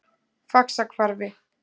Faxahvarfi